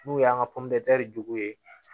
N'u y'an ka jugu ye